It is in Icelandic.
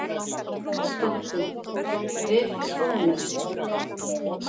Doddi: Við fúnum.